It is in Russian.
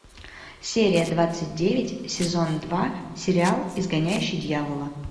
серия двадцать девять сезон два сериал изгоняющий дьявола